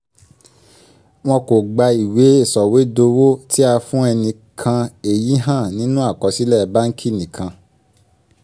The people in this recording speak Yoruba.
wọn kò gba ìwé sọ̀wédowó tí a fún ẹnìkan èyí hàn nínú àkọsílẹ̀ báǹkì nìkan